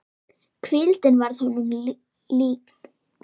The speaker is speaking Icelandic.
Hvíldin varð honum líkn.